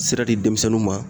Sira di denmisɛnninw ma.